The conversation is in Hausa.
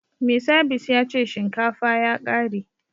Mai sabis ya ce shinkafa ya kare